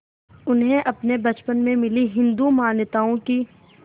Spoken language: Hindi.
उन्हें अपने बचपन में मिली हिंदू मान्यताओं की